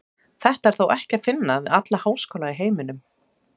Þetta er þó ekki að finna við alla háskóla í heiminum.